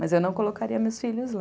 Mas eu não colocaria meus filhos lá.